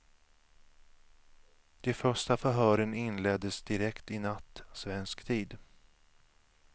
De första förhören inleddes direkt i natt svensk tid.